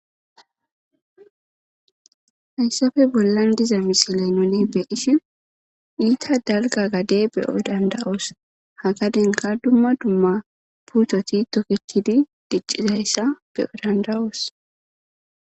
hayssafe bollan diza misile nune beishi iita dalga gade beyo danda7oos hagadenka dumma dumma puutoti toketidi diccizayssa beyo dandawoos